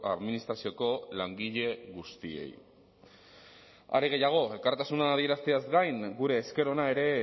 administrazioko langile guztiei are gehiago elkartasuna adierazteaz gain gure esker ona ere